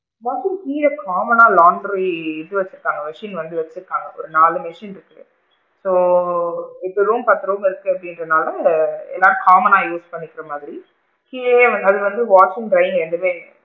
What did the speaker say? Washing கீழ common னா laundry இது வச்சு இருக்காங்க machine வந்து வச்சு இருக்காங்க ஒரு நாலு machine இருக்கு so இப்போ room ஒரு பத்து room இருக்கு அப்படிங்கற நாள எல்லாம் common னா use பண்ணிக்கிற மாதிரி கீழேயே அது வந்து washing dry ரெண்டுமே இருக்கு,